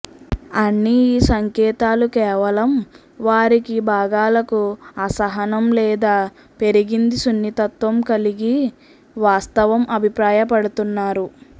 అన్ని ఈ సంకేతాలు కేవలం వారికి భాగాలకు అసహనం లేదా పెరిగింది సున్నితత్వం కలిగి వాస్తవం అభిప్రాయపడుతున్నారు